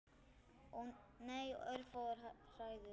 Nei, örfáar hræður.